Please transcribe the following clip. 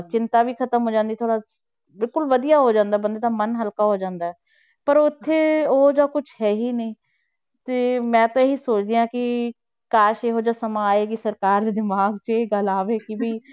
ਚਿੰਤਾ ਵੀ ਖ਼ਤਮ ਹੋ ਜਾਂਦੀ ਥੋੜ੍ਹਾ ਬਿਲਕੁਲ ਵਧੀਆ ਹੋ ਜਾਂਦਾ ਬੰਦੇ ਦਾ ਮਨ ਹਲਕਾ ਹੋ ਜਾਂਦਾ ਹੈ, ਪਰ ਉੱਥੇ ਉਹ ਜਿਹਾ ਕੁਛ ਹੈ ਹੀ ਨਹੀਂ, ਤੇ ਮੈਂ ਤਾਂ ਇਹ ਹੀ ਸੋਚਦੀ ਹਾਂ ਕਿ ਕਾਸ਼ ਇਹੋ ਜਿਹਾ ਸਮਾਂ ਆਏ ਵੀ ਸਰਕਾਰ ਦੇ ਦਿਮਾਗ 'ਚ ਇਹ ਗੱਲ ਆਵੇ ਕਿ ਵੀ